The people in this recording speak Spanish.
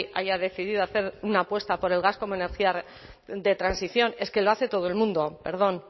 haya decidido hacer una apuesta por el gas como energía de transición es que lo hace todo el mundo perdón